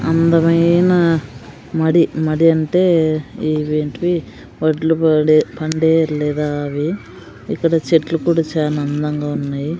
అందమైన మడి మడి అంటే ఇవి ఎంటీవీ వడ్లు పడే పండే లేదా అవి ఇక్కడ చెట్లు కూడా చానా అందంగా ఉన్నాయి.